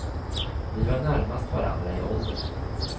Vi var närmast varandra i ålder.